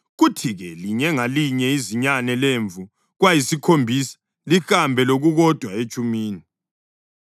kuthi-ke linye ngalinye izinyane lemvu kwayisikhombisa, lihambe lokukodwa etshumini.